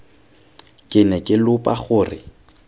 ke ne ke lopa gore